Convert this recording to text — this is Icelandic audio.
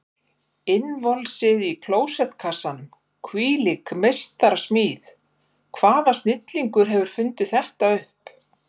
Innvolsið í klósettkassanum, hvílík meistarasmíð, hvaða snillingur hefur fundið þetta upp?